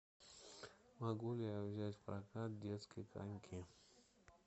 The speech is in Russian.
могу ли я взять в прокат детские коньки